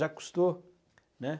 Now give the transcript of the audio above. Jacques Cousteau, né?